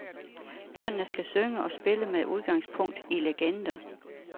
Børnene skal synge og spille med udgangspunkt i legender.